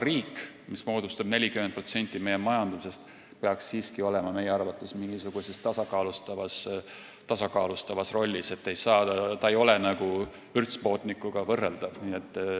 Riik, mis moodustab 40% meie majandusest, tal on majanduses nii suur osakaal, peaks siiski olema meie arvates mingisuguses tasakaalustavas rollis, ta ei ole vürtspoodnikuga võrreldav.